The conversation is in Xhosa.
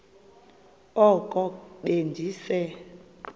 oko be ndise